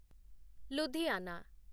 Ludhiana